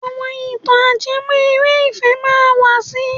Àwọn ìtàn ajẹmọ́ eré ìfẹ́ máa wà si.